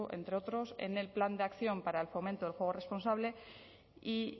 entre otros en el plan de acción para el fomento del juego responsable y